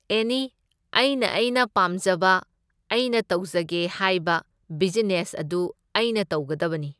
ꯑꯦꯅꯤ ꯑꯩꯅ ꯑꯩꯅ ꯄꯥꯝꯖꯕ ꯑꯩꯅ ꯇꯧꯖꯒꯦ ꯍꯥꯏꯕ ꯕꯤꯖꯤꯅꯦꯁ ꯑꯗꯨ ꯑꯩꯅ ꯇꯧꯒꯗꯕꯅꯤ꯫